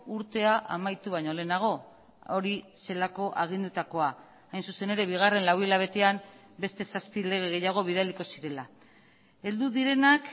urtea amaitu baino lehenago hori zelako agindutakoa hain zuzen ere bigarren lau hilabetean beste zazpi lege gehiago bidaliko zirela heldu direnak